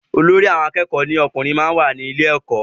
Olórí àwọn akẹ́kọ̀ọ́ lọ́kùnrin máa ń wà ní ilé ẹkọ.